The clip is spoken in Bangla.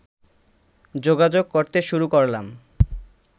যোগাযোগ করতে শুরু করলাম